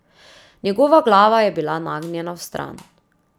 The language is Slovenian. Njegova glava je bila nagnjena vstran.